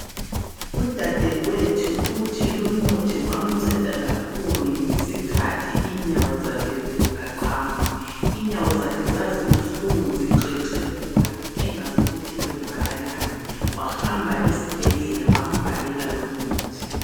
Udadewethu uthi lumuthi wamnceda kakhulu ngesikhathi inyawo zakhe ziqaqamba. Inyawo zakhe zazibuhlungu zixexebuka engazi ukuthi kwenzakalani wahamba esibhedlela bambhalela lumuthi.